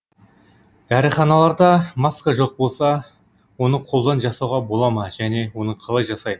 дәріханаларда маска жоқ болса оны қолдан жасауға бола ма және оны қалай жасайды